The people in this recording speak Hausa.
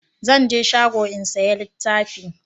zan je shago in saya littafi